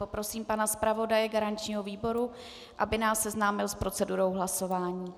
Poprosím pana zpravodaje garančního výboru, aby nás seznámil s procedurou hlasování.